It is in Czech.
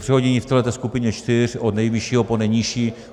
Přehození v téhle skupině čtyř od nejvyššího po nejnižší.